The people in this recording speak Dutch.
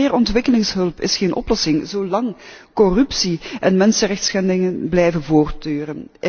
Maar meer ontwikkelingshulp is geen oplossing, zolang corruptie en mensenrechtenschendingen blijven voortduren.